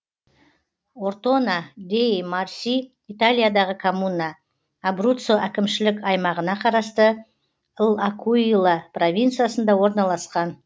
ортона деи марси италиядағы коммуна абруццо әкімшілік аймағына қарасты л акуила провинциясында орналасқан